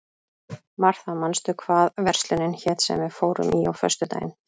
Martha, manstu hvað verslunin hét sem við fórum í á föstudaginn?